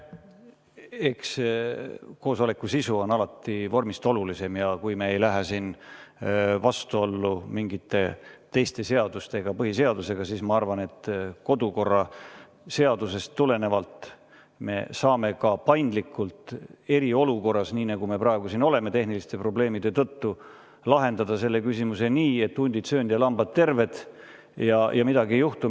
Eks koosoleku sisu on alati vormist olulisem, ja kui me ei lähe siin vastuollu mingite teiste seadustega, põhiseadusega, siis ma arvan, et kodukorraseadusest tulenevalt me saame ka paindlikult eriolukorras, nii nagu me praegu siin oleme tehniliste probleemide tõttu, lahendada selle küsimuse nii, et hundid söönud ja lambad terved, ja midagi ei juhtu.